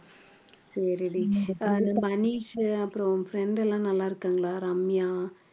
சரிடி அது மனிஷு அப்புறம் உன் friend எல்லாம் நல்லா இருக்காங்களா ரம்யா